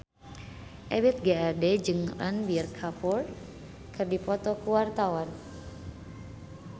Ebith G. Ade jeung Ranbir Kapoor keur dipoto ku wartawan